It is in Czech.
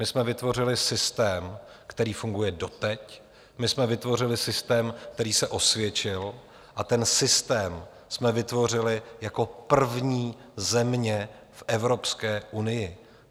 My jsme vytvořili systém, který funguje doteď, my jsme vytvořili systém, který se osvědčil, a ten systém jsme vytvořili jako první země v Evropské unii.